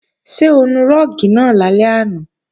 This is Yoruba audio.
Ṣé o nu rúùgì náà lálẹ́ àná?